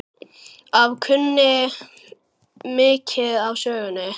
Afi kunni mikið af sögum.